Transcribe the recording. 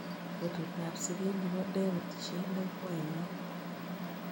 Betutab siget ne po david siele ko ainon